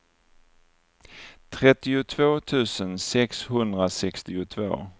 trettiotvå tusen sexhundrasextiotvå